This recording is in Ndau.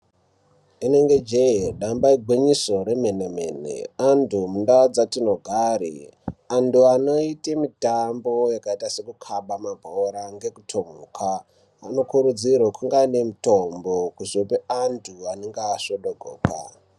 Rinenge je damba igwinyiso remene mene antu mundau dzatinogara antu anoita mitambo yakaita sekukabe mabhora kana ngekutomuka anokurudzirwa kuva nemitombo kuzopa antu anenge asvodogoka.